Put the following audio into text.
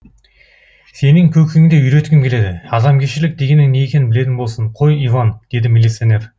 сенің көкеңді үйреткім келеді адамгершілік дегеннің не екенін білетін болсын қой иван деді милиционер